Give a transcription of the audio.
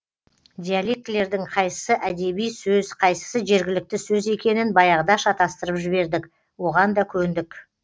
диалектілердің қайсысы әдеби сөз қайсысы жергілікті сөз екенін баяғыда шатастырып жібердік оған да көндік